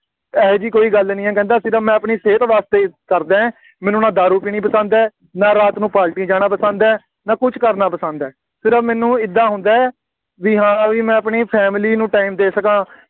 ਇਹੋ ਜਿਹੀ ਕੋਈ ਗੱਲ ਨਹੀਂ ਹੈ, ਕਹਿੰਦਾ ਸਿਰਫ ਮੈਂ ਆਪਣੀ ਸਿਹਤ ਵਾਸਤੇ ਕਰਦਾ, ਮੈਨੂੰ ਨਾ ਦਾਰੂ ਪੀਣੀ ਪਸੰਦ ਹੈ, ਨਾ ਰਾਤ ਨੂੰ ਪਾਰਟੀ ਜਾਣਾ ਪਸੰਦ ਹੈ, ਨਾ ਕੁੱਝ ਕਰਨਾ ਪਸੰਦ ਹੈ, ਸਿਰਫ ਮੈਨੂੰ ਏਦਾਂ ਹੁੰਦਾ ਬਈ ਹਾਂ ਬਈ ਮੈਂ ਆਪਣੀ family ਨੂੰ time ਦੇ ਸਕਾਂ